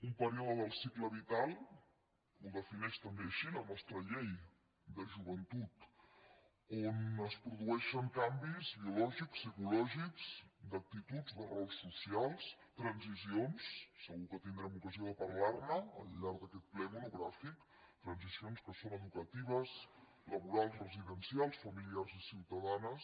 un període del cicle vital ho defineix també així la nostra llei de joventut on es produeixen canvis biològics psicològics d’actituds de rols socials transicions segur que tindrem ocasió de parlar ne al llarg d’aquest ple monogràfic que són educatives laborals residencials familiars i ciutadanes